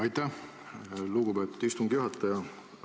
Aitäh, lugupeetud istungi juhataja!